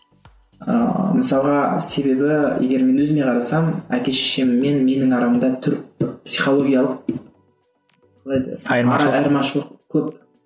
ыыы мысалға себебі егер мен өзіме қарасам әке шешеммен менің арамда психологиялық қалай айырмашылық көп